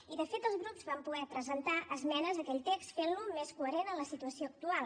i de fet els grups vam poder presentar esmenes a aquell text i fer lo més coherent amb la situació actual